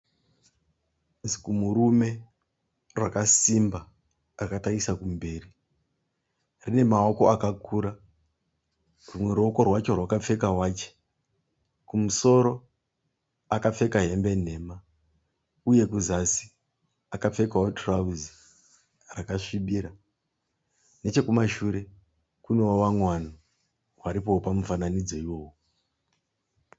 Zikumurume rakasimba rakatarisa kumberi. Rine maoko akakura. Rimwe ruoko rwacho rwakapfeka wachi. Kumusoro akapfeka hembe nhema uye kuzasi akapfekawo tirauzi rakasvibira. Nechekumashure kunewo vamwe vanhu varipowo pamufananidzo iwowu.